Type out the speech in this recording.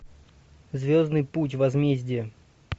звездный путь возмездие